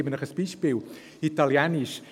Ich gebe Ihnen ein Beispiel: Italienisch.